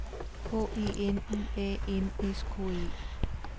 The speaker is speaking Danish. K E N Y A N S K E